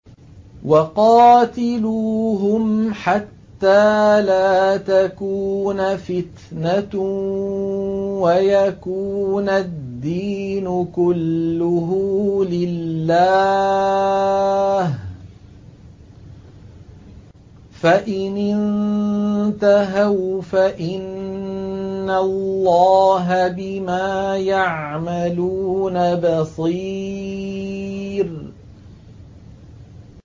وَقَاتِلُوهُمْ حَتَّىٰ لَا تَكُونَ فِتْنَةٌ وَيَكُونَ الدِّينُ كُلُّهُ لِلَّهِ ۚ فَإِنِ انتَهَوْا فَإِنَّ اللَّهَ بِمَا يَعْمَلُونَ بَصِيرٌ